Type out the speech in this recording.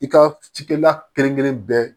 I ka cikɛla kelen-kelen bɛɛ